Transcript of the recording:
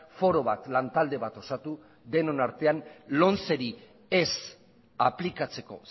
foro bat lantalde bat osatu denon artean lomceri ez aplikatzeko